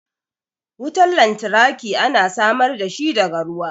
Wutan lantarki ana samar da shi daga ruwa.